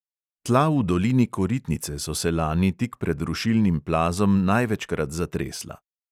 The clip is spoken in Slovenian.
Tla v dolini koritnice so se lani tik pred rušilnim plazom največkrat zatresla.